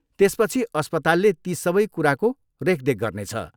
त्यसपछि अस्पतालले ती सबै कुराको रेखदेख गर्नेछ।